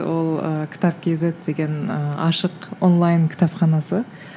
ол ыыы кітап кейзет деген ыыы ашық онлайн кітапханасы